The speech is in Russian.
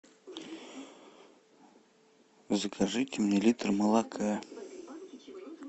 закажите мне литр молока